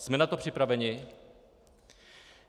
Jsme na to připraveni?